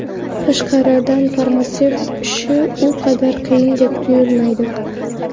Tashqaridan farmatsevt ishi u qadar qiyindek tuyulmaydi.